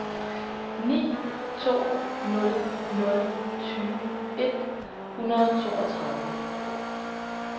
ni to nul nul tyve et hundrede og toogtredive